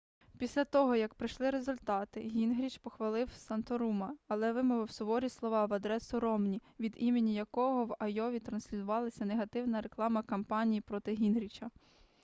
після того як прийшли результати гінгріч похвалив санторума але вимовив суворі слова на адресу ромні від імені якого в айові транслювалася негативна рекламна кампанія проти гінгріча